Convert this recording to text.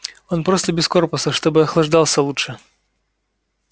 он просто без корпуса чтобы охлаждался лучше